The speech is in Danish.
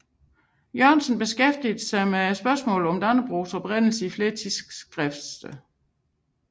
Jørgensen beskæftigede sig med spørgsmålet om Dannebrogs oprindelse i flere tidsskriftsartikler